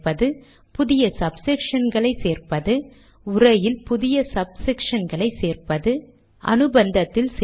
டாக்குமென்டை end document கட்டளையால் முடிக்கிறேன்